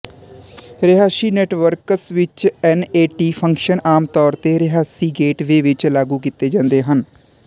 ਰਿਹਾਇਸ਼ੀ ਨੈਟਵਰਕਸ ਵਿੱਚ NAT function ਆਮ ਤੌਰ ਤੇ ਰਿਹਾਇਸ਼ੀ ਗੇਟਵੇ ਵਿੱਚ ਲਾਗੂ ਕੀਤੇ ਜਾਂਦੇ ਹਨ